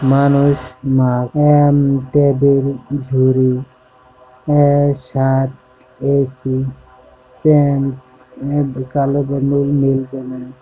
মানুষ প্যান্ট তা ধরে সুরত এ_সি প্যান্ট কালো গেঞ্জি